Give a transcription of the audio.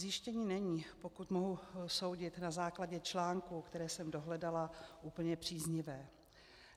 Zjištění není, pokud mohu soudit na základě článků, které jsem dohledala, úplně příznivé.